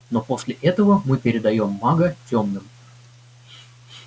но после этого мы передаём мага тёмным